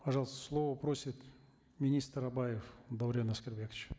пожалуйста слово просит министр абаев даурен аскарбекович